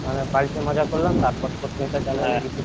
ওখানে বাড়ি তে মজা করলাম তারপর পরকে এটা চালু